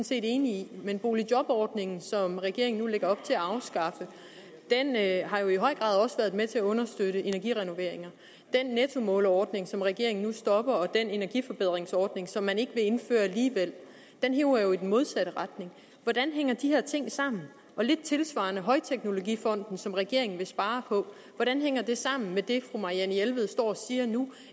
set enige i men boligjobordningen som regeringen nu lægger op til at har jo i høj grad også været med til at understøtte energirenoveringer den nettomålerordning som regeringen nu stopper og den energiforbedringsordning som man ikke vil indføre alligevel hiver jo i den modsatte retning hvordan hænger de her ting sammen lidt tilsvarende højteknologifonden som regeringen vil spare på hvordan hænger det sammen med det fru marianne jelved står og siger nu